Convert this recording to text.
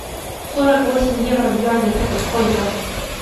сорок восемь евро в юанях это сколько